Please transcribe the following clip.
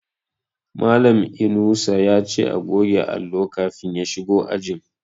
Malan Inusa yace a goge allo kafin ya shigo ajin